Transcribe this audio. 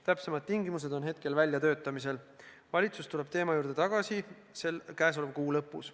Täpsemad tingimused on väljatöötamisel, valitsus tuleb teema juurde tagasi käesoleva kuu lõpus.